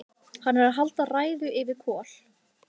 Hún er að halda ræðu yfir Kol: